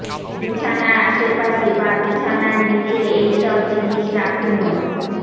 বিছানার আশেপাশে বা বিছানার নীচে এই সব জিনিস রাখুন ও